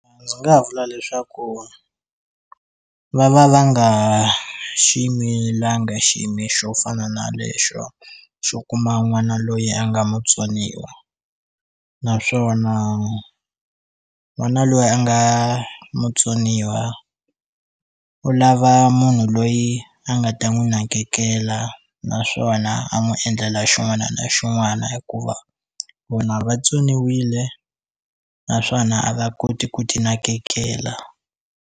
Ndzi nga vula leswaku va va va nga xi yimilanga xiyimi xo fana na lexo xo kuma n'wana loyi a nga mutsoniwa naswona n'wana loyi a nga mutsoniwa u lava munhu loyi a nga ta n'wi nakekela naswona a n'wi endlela xin'wana na xin'wana hikuva vona vatsoniwile naswona a va koti ku ti nakekela.